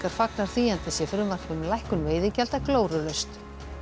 fagnar því enda sé frumvarp um lækkun veiðigjalda glórulaust